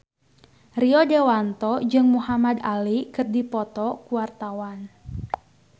Rio Dewanto jeung Muhamad Ali keur dipoto ku wartawan